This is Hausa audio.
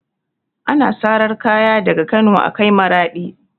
Ana sarar kaya daga Kano a kai Maraɗi